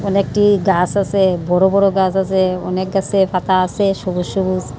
এখানে একটি গাছ আছে বড় বড় গাছ আছে অনেক গাছে পাতা আছে সবুজ সবুজ।